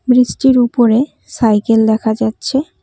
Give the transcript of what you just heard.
ব্রিজটির উপরে সাইকেল দেখা যাচ্ছে।